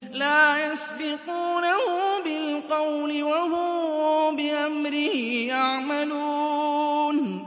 لَا يَسْبِقُونَهُ بِالْقَوْلِ وَهُم بِأَمْرِهِ يَعْمَلُونَ